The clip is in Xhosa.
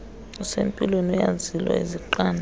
osempilweni uyazilwa uzinqande